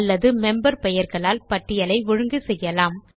அல்லது மெம்பர் பெயர்களால் பட்டியலை ஒழுங்கு செய்யலாம்